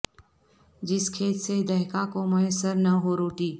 جس کھیت سے دہقاں کو میسر نہ ہو روٹی